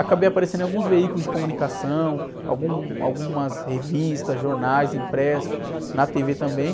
Acabei aparecendo em alguns veículos de comunicação, algum, algumas revistas, jornais, impressos, na tê-vê também.